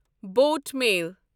boat mail